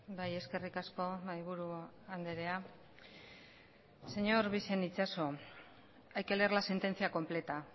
bai eskerrik asko mahaiburu andrea señor bixen itxaso hay que leer la sentencia completa